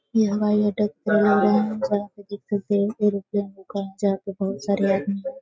ये हवाई अड्डा खोला गया है जहाँ पे दिक्कत है एयरोप्लेन रुका है जहाँ पे बहुत सारे आदमी --